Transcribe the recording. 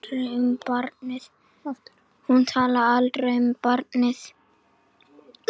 Hún talar aldrei um barnið.